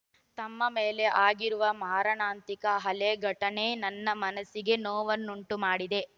ತಮ್ಮ ಮೇಲೆ ಆಗಿರುವ ಮಾರಣಾಂತಿಕ ಆಲ್ಲೆ ಘಟನೆ ನನ್ನ ಮನಸ್ಸಿಗೆ ನೋವನ್ನುಂಟು ಮಾಡಿದೆ